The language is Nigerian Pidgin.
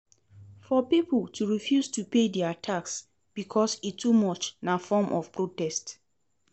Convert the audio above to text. For pipo to refuse to pay their tax because e too much na form of protest